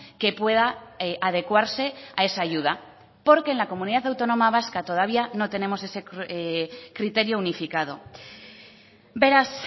que pueda adecuarse a esa ayuda porque en la comunidad autónoma vasca todavía no tenemos ese criterio unificado beraz